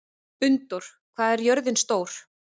Unndór, hvað er jörðin stór?